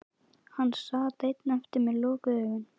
Hann sat einn eftir með lokuð augun.